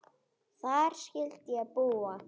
Þar skyldi ég búa.